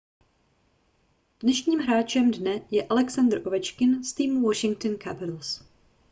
dnešním hráčem dne je alexandr ovečkin z týmu washington capitals